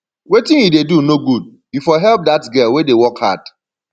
wetin you dey do no good you for help dat girl wey dey work hard